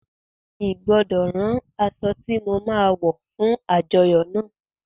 I gbọdọ rán aṣọ ti mo ma wọ fún àjọyọ́ náà.